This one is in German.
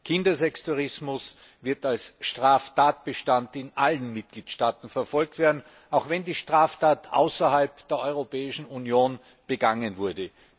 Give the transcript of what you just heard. Kindersextourismus wird als Straftatbestand in allen Mitgliedstaaten verfolgt werden, auch wenn die Straftat außerhalb der Europäischen Union begangen wurde.